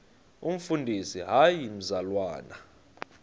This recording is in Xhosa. umfundisi hayi mzalwana